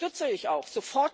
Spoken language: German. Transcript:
Das unterstütze ich auch!